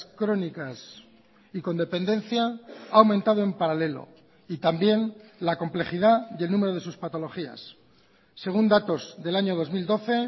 crónicas y con dependencia ha aumentado en paralelo y también la complejidad y el número de sus patologías según datos del año dos mil doce